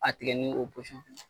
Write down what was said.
A tigɛ ni o